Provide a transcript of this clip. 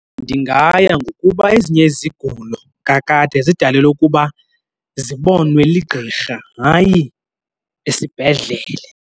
Ndingaya ngokuba ezinye izigulo kakade zidalelwe ukuba zibonwe ligqirha, hayi esibhedlele.